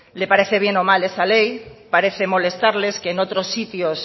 le parece bien o mal esa ley parece molestarles en otros sitios